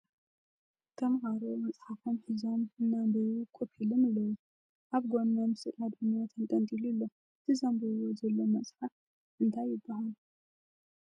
ተምሃሮ መፅሓፎም ሒዞም እና ኣምበቡ ኮፍ ኢሎም ኣለዉ ። ኣብ ጎኖም ስእሊ ኣድህኖ ተንጠልጢሉ ኣሎ ። እቲ ዘንብብዎ ዘለዉ መፅሓፍ እንታይ ይበሃል?